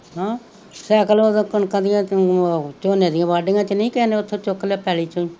cycle ਝੋਨੇ ਦੀਆ ਵਾਡੀਆਂ ਚ ਨੀ ਕਿਸੇ ਨੇ ਉਥੋਂ ਚੂਕ ਲਿਆ ਪੈਲੀ ਚੋ ਈ